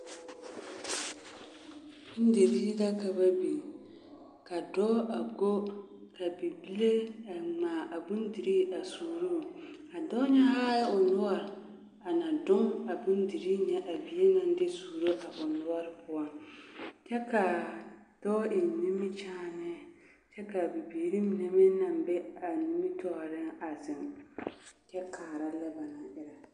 Bondirii la ka ba biŋ ka dɔɔ a go ka bibile a ŋmaa a bondirii a suuruu, a dɔɔ nyɛ haa o noɔre ana doŋ a bondirii nyɛ a bie naŋ de suuro a o noɔre poɔ kyɛ k'a dɔɔ eŋ nimikyaane kyɛ k'a bibiiri mine meŋ naŋ be a nimitɔɔreŋ a zeŋ kyɛ kaara lɛ ba naŋ erɛ.